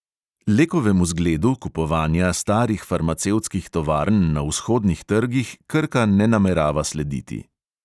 Lekovemu zgledu kupovanja starih farmacevtskih tovarn na vzhodnih trgih krka ne namerava slediti.